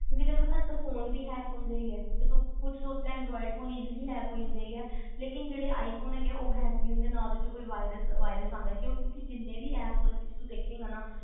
ਜਿਹਦਾ ਤੈਨੂੰ ਪਤਾ ਅੱਜ ਕੱਲ ਫੋਨ ਵੀ hack ਹੁੰਦੇ ਹੈਗੇ ਆ ਕੁਝ ਜੋ anroid phone easily hack ਹੋ ਜਾਂਦੇ ਹੈਗੇ ਆ ਲੇਕਿਨ ਜਿਹੜੇ i phone ਹੈਗੇ ਆ ਉਹ hack ਨਹੀਂ ਹੁੰਦੇ ਨਾ ਉਹਦੇ ਚ ਕੋਈ virus ਆਂਦਾ ਕਿਊ ਕਿਉਕਿ ਉਹਦੇ ਵਿਚ ਜਿਹਨੇ ਵੀ app ਉਹਦੇ ਵਿਚ ਦੇਖੇਗਾ ਨਾ